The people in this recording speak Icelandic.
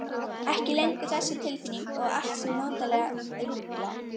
Ekki lengur þessi tilfinning að allt sé notalega ruglað.